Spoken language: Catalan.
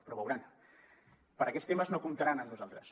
però veuran per a aquests temes no comptaran amb nosaltres